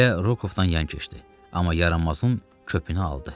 Güllə Rokovdan yan keçdi, amma yaranmasın köpünü aldı.